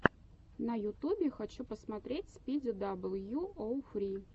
на ютюбе хочу посмотреть спиди дабл ю оу фри